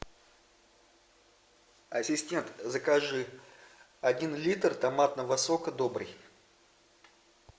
ассистент закажи один литр томатного сока добрый